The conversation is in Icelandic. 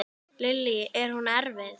Lillý: Er hún erfið?